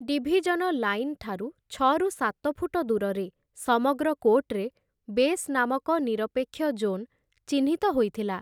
Division line ଠାରୁ ଛଅରୁ ସାତ ଫୁଟ ଦୂରରେ, ସମଗ୍ର କୋର୍ଟରେ, ବେସ୍ ନାମକ ନିରପେକ୍ଷ ଜୋନ୍ ଚିହ୍ନିତ ହୋଇଥିଲା ।